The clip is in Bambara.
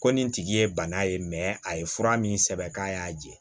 Ko nin tigi ye bana ye a ye fura min sɛbɛn k'a y'a jɛ